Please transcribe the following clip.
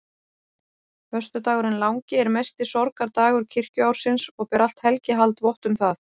Föstudagurinn langi er mesti sorgardagur kirkjuársins og ber allt helgihald vott um það.